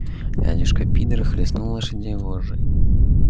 дядюшка пидор хлестнул лошадь вожжой